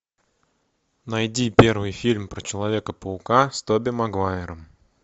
найди первый фильм про человека паука с тоби магуайром